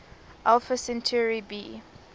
alpha centauri b